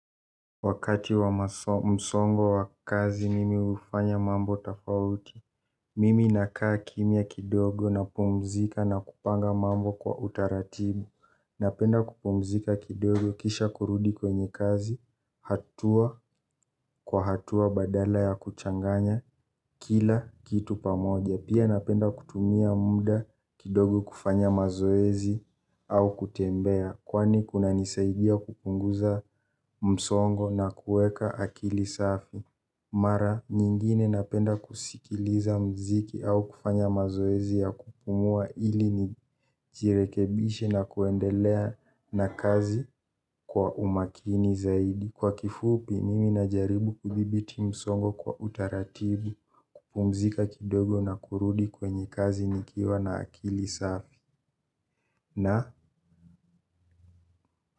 Wakati wa msongo wa kazi mimi hufanya mambo tofauti. Mimi nakaa kimya kidogo napumzika na kupanga mambo kwa utaratibu. Napenda kupumzika kidogo kisha kurudi kwenye kazi. Hatua kwa hatua badala ya kuchanganya kila kitu pamoja. Pia napenda kutumia muda kidogo kufanya mazoezi au kutembea. Kwani kunanisaidia kupunguza msongo na kuweka akili safi. Mara, nyingine napenda kusikiliza mziki au kufanya mazoezi ya kupumua ili nijirekebishe na kuendelea na kazi kwa umakini zaidi. Kwa kifupi, mimi najaribu kudhibiti msongo kwa utaratibu, kupumzika kidogo na kurudi kwenye kazi nikiwa na akili safi.